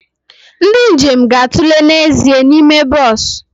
Ndị njem ga-atụle n'ezie n'ime bọs